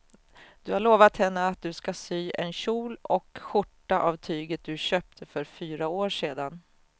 Du har lovat henne att du ska sy en kjol och skjorta av tyget du köpte för fyra år sedan.